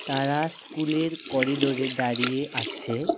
তারা স্কুলের করিডোরে দাঁড়িয়ে আছে।